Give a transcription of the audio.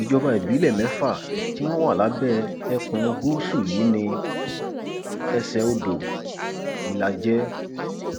ìjọba ìbílẹ mẹfà tí wọn wà lábẹ ẹkùn gúúsù yìí ni ẹsẹodò ìlàjẹ